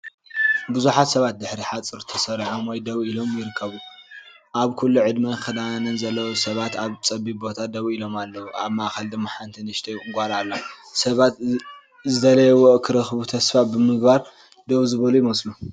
ብዙሓት ሰባት ብድሕሪ ሓጹር ተሰሪዖም ወይ ደው ኢሎም ይርከቡ። ኣብ ኩሉ ዕድመን ክዳንን ዘለዎም ሰባት ኣብ ጸቢብ ቦታ ደው ኢሎም ኣለዉ፤ ኣብ ማእከል ድማ ሓንቲ ንእሽቶይ ጓል ኣላ። ሰባት ዝደልይዎ ክረኽቡ ተስፋ ብምግባር ደው ዝበሉ ይመስሉ።